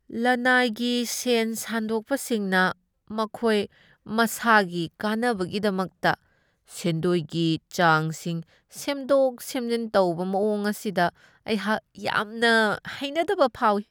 ꯂꯅꯥꯏꯒꯤ ꯁꯦꯟ ꯁꯥꯟꯗꯣꯛꯄꯁꯤꯡꯅ ꯃꯈꯣꯏ ꯃꯁꯥꯒꯤ ꯀꯥꯟꯅꯕꯒꯤꯗꯃꯛꯇ ꯁꯦꯟꯗꯣꯏꯒꯤ ꯆꯥꯡꯁꯤꯡ ꯁꯦꯝꯗꯣꯛ ꯁꯦꯝꯖꯤꯟ ꯇꯧꯕ ꯃꯑꯣꯡ ꯑꯁꯤꯗ ꯑꯩꯍꯥꯛ ꯌꯥꯝꯅ ꯍꯩꯅꯗꯕ ꯐꯥꯎꯢ꯫